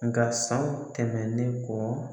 Nka sanw tɛmɛnen kɔ